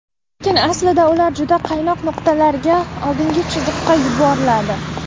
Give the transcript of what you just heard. Lekin aslida ular juda qaynoq nuqtalarga, oldingi chiziqqa yuboriladi.